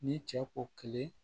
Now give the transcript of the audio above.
Ni cɛ ko kelen